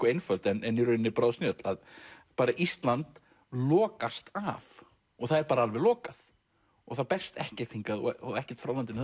einföld en í rauninni bráðsnjöll að bara Ísland lokast af og það er bara alveg lokað og það berst ekkert hingað og ekkert frá landinu